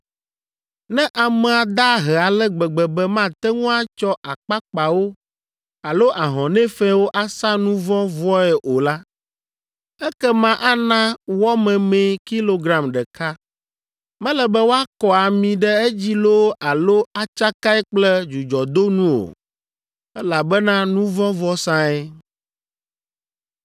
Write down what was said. “ ‘Ne amea da ahe ale gbegbe be mate ŋu atsɔ akpakpawo alo ahɔnɛ fɛ̃wo asa nu vɔ̃ vɔe o la, ekema ana wɔ memee kilogram ɖeka. Mele be woakɔ ami ɖe edzi loo alo atsakae kple dzudzɔdonu o, elabena nu vɔ̃ vɔsae.